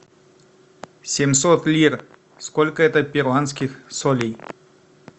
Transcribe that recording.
семьсот лир сколько это перуанских солей